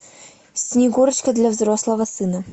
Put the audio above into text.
снегурочка для взрослого сына